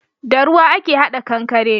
Da ruwa ake hada kankare